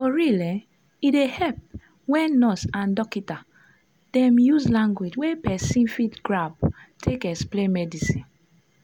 for real eh e dey epp wen nurse and dokita dem use lanugauge wey pesin fit grab take explain medicine.